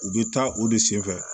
U bɛ taa o de senfɛ